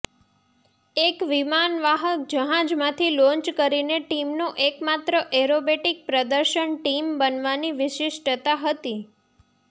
એક વિમાનવાહક જહાજમાંથી લોન્ચ કરીને ટીમનો એકમાત્ર એરોબેટિક પ્રદર્શન ટીમ બનવાની વિશિષ્ટતા હતી